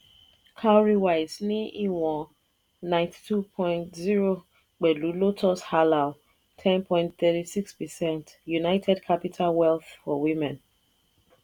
cowrywise ní ìwọ̀n n92.0b pẹ̀lú lotus halal (10.36 percent) united capital wealth for women.